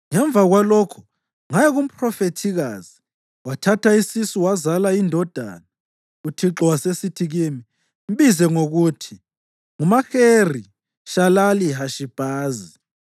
Ngemva kwalokho ngaya kumphrofethikazi, wathatha isisu, wazala indodana. UThixo wasesithi kimi, “Mbize ngokuthi nguMaheri-Shalali-Hashi-Bhazi.